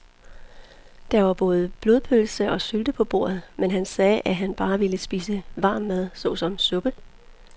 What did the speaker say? Der var både blodpølse og sylte på bordet, men han sagde, at han bare ville spise varm mad såsom suppe.